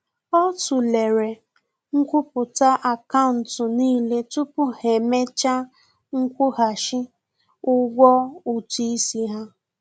Ọ tụlere nkwupụta akaụntụ n'ile tupu ha emecha nkwụghachi ụgwọ ụtụ isi ha